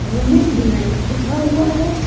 Women delight लिखा हुआ है।